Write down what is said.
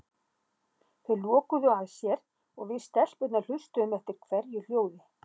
Þau lokuðu að sér og við stelpurnar hlustuðum eftir hverju hljóði.